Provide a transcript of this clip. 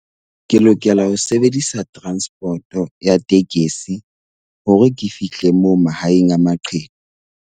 Ke lokela ho sebedisa transport-o ya tekesi hore ke fihle moo mahaeng a maqheku.